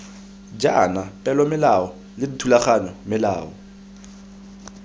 jaana peomolao le dithulaganyo melao